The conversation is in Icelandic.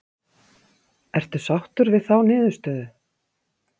Ertu sáttur við þá niðurstöðu?